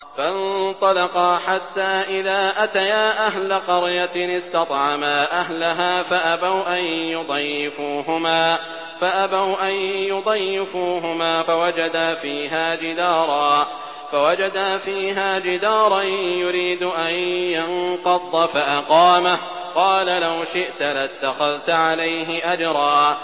فَانطَلَقَا حَتَّىٰ إِذَا أَتَيَا أَهْلَ قَرْيَةٍ اسْتَطْعَمَا أَهْلَهَا فَأَبَوْا أَن يُضَيِّفُوهُمَا فَوَجَدَا فِيهَا جِدَارًا يُرِيدُ أَن يَنقَضَّ فَأَقَامَهُ ۖ قَالَ لَوْ شِئْتَ لَاتَّخَذْتَ عَلَيْهِ أَجْرًا